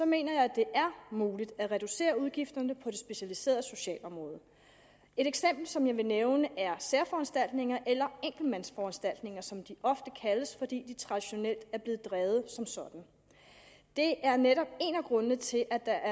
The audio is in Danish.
mener jeg at det er muligt at reducere udgifterne på det specialiserede socialområde et eksempel som jeg vil nævne er særforanstaltninger eller enkeltmandsforanstaltninger som de ofte kaldes fordi de traditionelt er blevet drevet som sådan det er netop en af grundene til at der